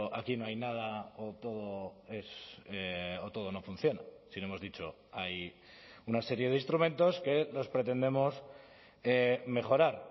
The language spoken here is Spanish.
aquí no hay nada o todo no funciona sino hemos dicho hay una serie de instrumentos que los pretendemos mejorar